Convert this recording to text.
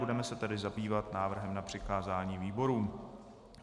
Budeme se tedy zabývat návrhem na přikázání výborům.